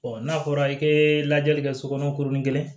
n'a fɔra i bɛ lajɛli kɛ sokɔnɔ kurunin kelen